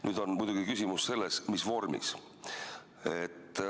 Küsimus on muidugi selles, mis vormis.